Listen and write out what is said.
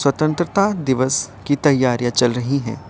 स्वतंत्रता दिवस की तैयारियां चल रही हैं।